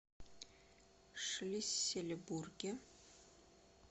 шлиссельбурге